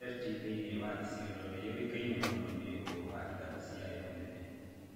Merti thĩinĩ wa Isiolo nĩ yũĩkaine mũno nĩ ũndũ wa ithaka ciayo nene.